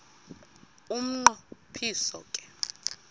umnqo phiso ke